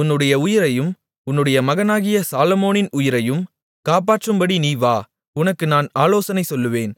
உன்னுடைய உயிரையும் உன் மகனாகிய சாலொமோனின் உயிரையும் காப்பாற்றும்படி நீ வா உனக்கு நான் ஆலோசனை சொல்லுவேன்